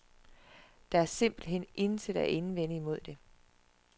Der er simpelt hen intet at indvende mod det.